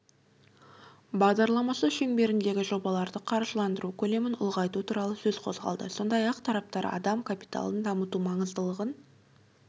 бағдарламасы шеңберіндегі жобаларды қаржыландыру көлемін ұлғайту туралы сөз қозғалды сондай-ақ тараптар адам капиталын дамыту маңыздылығын